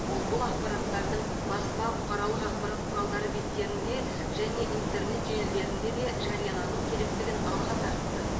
ол бұл ақпараттардың баспа бұқаралық ақпарат құраладары беттерінде және интернет желілерінде де жариялану керектігін алға тартты